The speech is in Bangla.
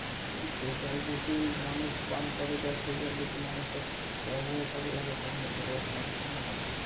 তো সেই জল যদি মানুষ পান করে বা সেই জল যদি মানুষের ব্যবহারের কাজে লাগে তাহলে তো রোগ মানুষের হবে